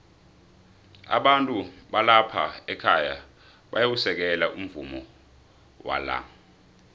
abantu balapha ekhaya bayawusekela umvumo wala